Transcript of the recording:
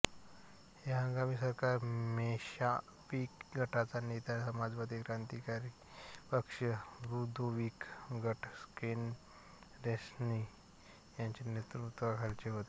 हे हंगामी सरकार मेन्शॅव्हिक गटाचा नेता समाजवादी क्रांतिकारी पक्ष तृदोविक गट केरेन्स्की याच्या नेतृत्वखालचे होते